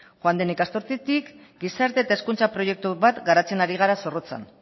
joan den ikasturtetik gizarte eta hezkuntza proiektu bat garatzen ari gara zorrotzan